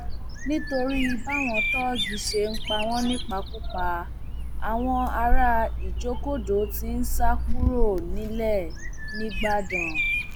nítorí báwọn tóògì ṣe ń pa wọn nípakúpa àwọn ará ìjókòdo tí ń sá kúrò nílẹ nígbàdàn